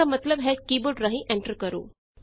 ਇਸਦਾ ਮਤਲਬ ਹੈ ਕੀ ਬੋਰਡ ਰਾਹੀਂ ਐਂਟਰ ਕਰੋ